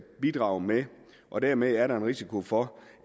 bidrage med og dermed er der en risiko for